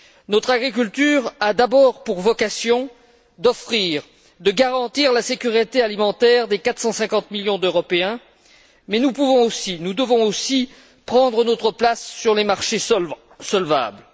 Notre agriculture a d'abord pour vocation d'offrir, de garantir la sécurité alimentaire des 450 millions d'Européens, mais nous devons aussi prendre notre place sur les marchés solvables.